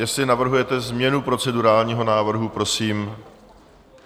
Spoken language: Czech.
Jestli navrhujete změnu procedurálního návrhu, prosím.